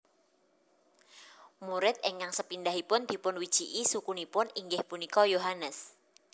Murid ingkang sepindhahipun dipunwijiki sukunipun inggih punika Yohanes